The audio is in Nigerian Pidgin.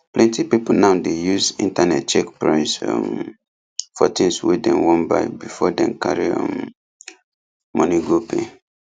plenty people now dey use internet check price um for things wey dem wan buy before dem carry um money go pay